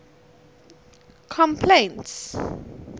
complaints